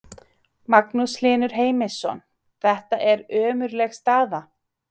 Magnús Hlynur Heimisson: Þetta er ömurleg staða?